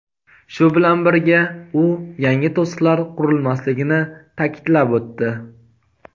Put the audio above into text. Shu bilan birga u yangi to‘siqlar qurilmasligini ta’kidlab o‘tdi.